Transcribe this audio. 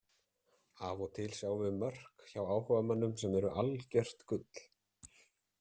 Af og til sjáum við mörk hjá áhugamönnum sem eru algjört gull.